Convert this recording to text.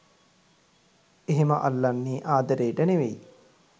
'එහෙම අල්ලන්නේ ආදරේට නෙවෙයි.